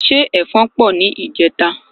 Ṣé ẹfọn pọ ni ìjeta?